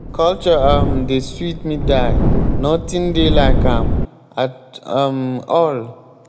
culture um dey sweet me die. nothing dey like am at um all.